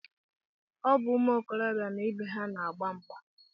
Ọ bụ ụmụ okorobịa na ibe ha na-agba mgba